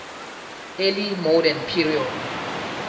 early modern period